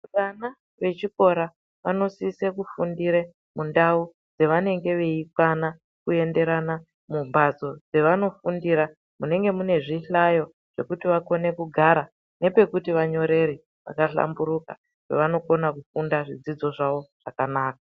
Vana vechikora vanosise kufundire mundau dzavanenge veikwana kuenderana mumhatso dzavano fundira, munenge mune zvihlayo zvekuti vakone kugara nepekuti vanyorere paka hlamburuka pevano kona kufunda zvidzidzo zvavo zvakanaka.